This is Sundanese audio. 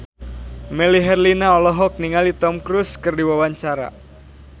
Melly Herlina olohok ningali Tom Cruise keur diwawancara